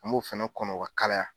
An b'o fɛnɛ kɔnɔ o ka kalaya